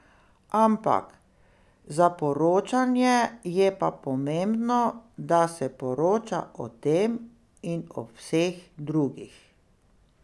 Ampak za poročanje je pa pomembno, da se poroča o tem in o vseh drugih.